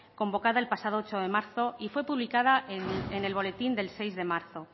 convocada el pasado ocho de marzo y fue publicada en el boletín del seis de marzo